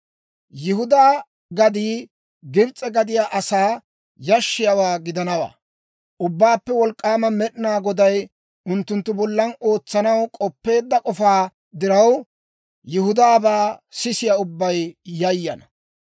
Yihudaa gaddii Gibs'e gadiyaa asaa yashshiyaawaa gidanawaa; Ubbaappe Wolk'k'aama Med'inaa Goday unttunttu bollan ootsanaw k'oppeedda k'ofaa diraw, Yihudaabaa sisiyaa ubbay yayana.